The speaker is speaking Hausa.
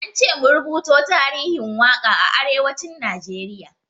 Ance mu rubuto tarihin waƙa a arewacin Najeriya.